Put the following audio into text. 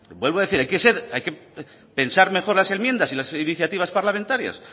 vuelvo a decir hay que pensar mejor las enmiendas y las iniciativas parlamentarias